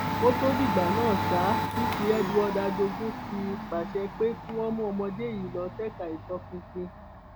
kó tóó dìgbà náà ṣá cc edward ajogun ti pàṣẹ pé kí wọn mú ọmọdé yìí lọ ṣèkà ìtọpinpin